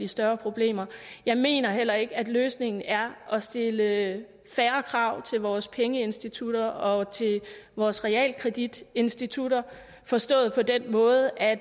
større problemer jeg mener heller ikke at løsningen er at stille færre krav til vores pengeinstitutter og til vores realkreditinstitutter forstået på den måde at